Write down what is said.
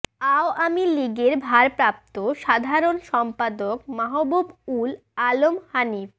আওয়ামী লীগের ভারপ্রাপ্ত সাধারণ সম্পাদক মাহবুব উল আলম হানিফ